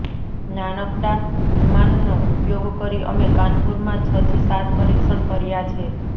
નાનકડા વિમાનનો ઉપયોગ કરી અમે કાનપુરમાં છથી સાત પરીક્ષણ કર્યા છે